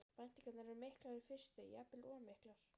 Væntingarnar eru miklar í fyrstu, jafnvel of miklar.